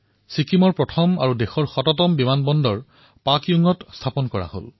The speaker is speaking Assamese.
ছিক্কিমত প্ৰথম আৰু দেশৰ এশতম বিমানবন্দৰ পাকয়ং মুকলি কৰা হল